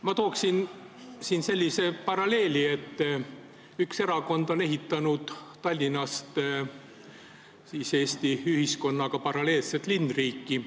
Ma tooksin siin sellise paralleeli, et üks erakond on Tallinnas päris mitu aastat ehitanud Eesti ühiskonnaga paralleelset linnriiki.